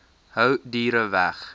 hou diere weg